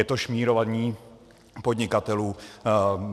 Je to šmírování podnikatelů.